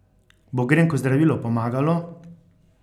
Bo grenko zdravilo pomagalo?